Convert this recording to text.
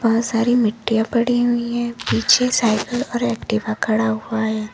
बहुत सारी मिट्टियां पड़ी हुई है पीछे साइकिल और एक्टिवा खड़ा हुआ है।